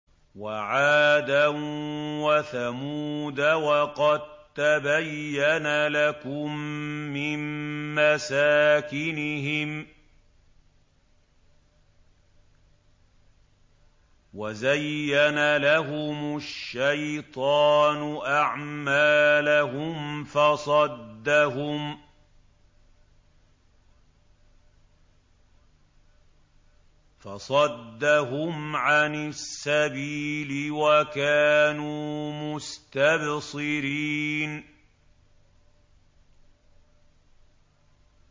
وَعَادًا وَثَمُودَ وَقَد تَّبَيَّنَ لَكُم مِّن مَّسَاكِنِهِمْ ۖ وَزَيَّنَ لَهُمُ الشَّيْطَانُ أَعْمَالَهُمْ فَصَدَّهُمْ عَنِ السَّبِيلِ وَكَانُوا مُسْتَبْصِرِينَ